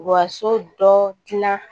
Wa so dɔ gilan